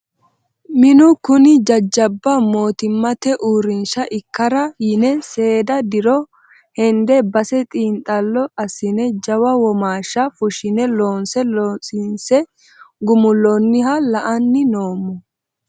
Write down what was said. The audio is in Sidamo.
Minu kuni jajjabba mootimmate uurrinsha ikkara yine seeda diro hende base xiinxallo assine jawa womashsha fushine loonse loosise gumuloniha la"ani noommo.